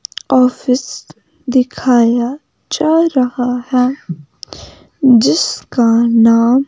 office दिखाया जा रहा है जिसका नाम--